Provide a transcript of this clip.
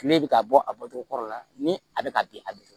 Kile bɛ ka bɔ a bɔcogo kɔrɔ la ni a bɛ ka bin a bɛ